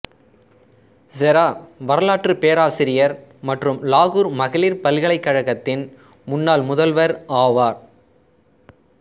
செரா வரலாற்றுப் பேராசிரியர் மற்றும் லாகூர் மகளிர் பல்கலைக்கழகத்தின் முன்னாள் முதல்வர் ஆவார்